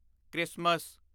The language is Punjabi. ਕ੍ਰਿਸਮਸ